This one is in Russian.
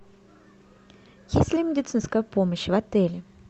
есть ли медицинская помощь в отеле